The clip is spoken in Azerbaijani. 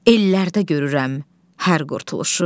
Ellərdə görürəm hər qurtuluşu.